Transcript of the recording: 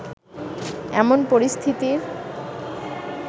এমন পরিস্থিতির